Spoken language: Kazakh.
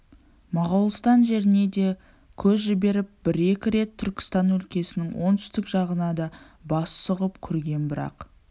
моғолстан жеріне де көз жіберіп бір-екі рет түркістан өлкесінің оңтүстік жағына да бас сұғып көрген бірақ